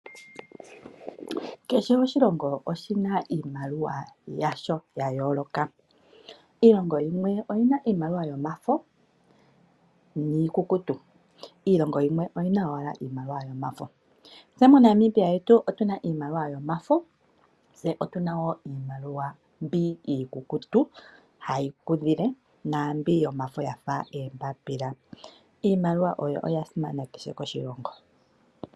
Kehe oshilongo oshina iimaliwa yasho yayooloka. Iilongo yimwe oyina yomafo niikukutu, yimwe oyina owala omafo. MoNamibia omuna iimaliwa yomafo niikukutu hayi kudhile naambi yomafo yafa oombapila. Iimaliwa oya simana koshilongo kehe.